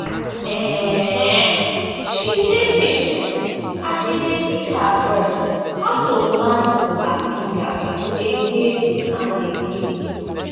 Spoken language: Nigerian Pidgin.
um she dey patient as she dey teach her bird how to land for her finger again and again.